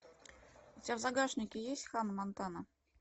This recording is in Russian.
у тебя в загашнике есть ханна монтана